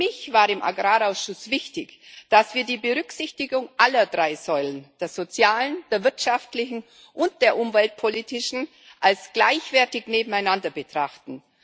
Für mich war im Agrarausschuss wichtig, dass wir die Berücksichtigung aller drei Säulen der sozialen, der wirtschaftlichen und der umweltpolitischen als gleichwertig nebeneinander betrachten.